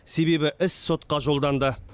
себебі іс сотқа жолданды